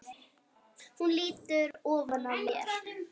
Hún lýtur ofan að mér.